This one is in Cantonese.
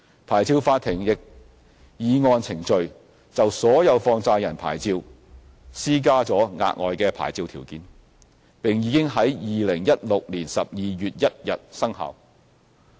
牌照法庭亦已按程序，就所有放債人牌照施加了額外牌照條件，並已於2016年12月1日生效。